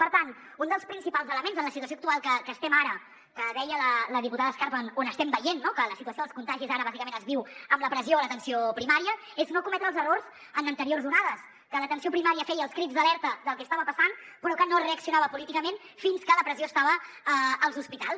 per tant un dels principals elements en la situació actual en que estem ara que deia la diputada escarp on estem veient que la situació dels contagis ara bàsicament es viu amb la pressió a l’atenció primària és no cometre els errors com en anteriors onades que l’atenció primària feia els crits d’alerta del que estava passant però que no es reaccionava políticament fins que la pressió estava als hospitals